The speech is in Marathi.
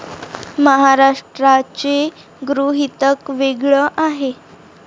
महाराष्ट्राचे गृहीतक वेगळं आहे.